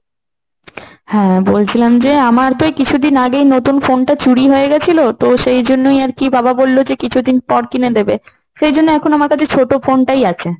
হ্যাঁ বলছিলাম যে আমার তো এই কিছুদিন আগেই নতুন phone টা চুরি হয়ে গেছিল, তো সেই জন্যই আর কি বাবা বলল যে কিছুদিন পর কিনে দেবে, সেজন্য এখন আমার কাছে ছোট phone টাই আছে।